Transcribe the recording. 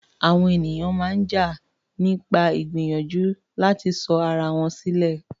Àwọn ènìyàn ń jà nípa ìgbìyànjú láti sọ ara wọn sílẹ̀.